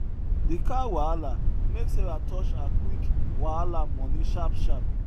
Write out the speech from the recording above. de car wahala make sarah touch her quick wahala moni sharp sharp